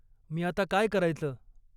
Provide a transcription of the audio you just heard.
मी आता काय करायचं?